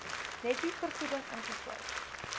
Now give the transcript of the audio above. netto vergoeding ingesluit